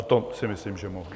A to si myslím, že mohu.